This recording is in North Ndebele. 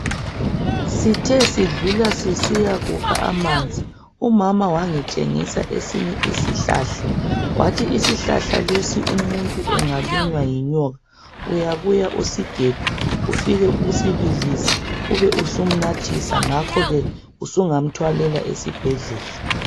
Sithe sidlula sisiya kukha amanzi umama wangitshengisa esinye isihlahla wathi isihlahla lesi umuntu engalunywa yinyoka uyabuya usigebhe ufike usibilise ube usumnathisa ngakho ke usungamthwalela esibhedlela.